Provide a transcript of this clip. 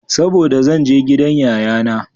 Saboda zan je gidan yayana.